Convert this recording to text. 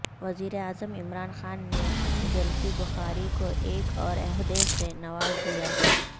وزیراعظم عمران خان نے زلفی بخاری کو ایک اور عہدے سے نواز دیا